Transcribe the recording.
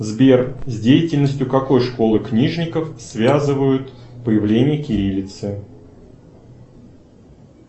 сбер с деятельностью какой школы книжников связывают появление кириллицы